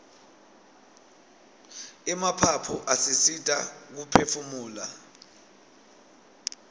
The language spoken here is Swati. emaphaphu asisita kuphefumula